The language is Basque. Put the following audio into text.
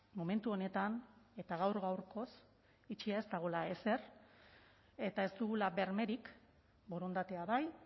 momentu honetan eta gaur gaurkoz itxia ez dagoela ezer eta ez dugula bermerik borondatea bai